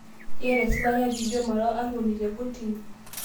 Eyata esipata piijo mara arwuoni te kotini